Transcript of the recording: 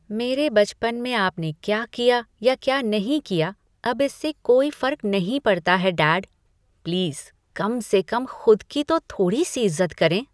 मेरे बचपन में आपने क्या किया या क्या नहीं किया, अब इससे कोई फर्क नहीं पड़ता है, डैड। प्लीज़ कम से कम खुद की तो थोड़ी सी इज़्ज़त करें!